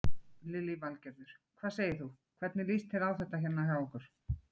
Lillý Valgerður: Hvað segir þú, hvernig líst þér á þetta hérna hjá okkur?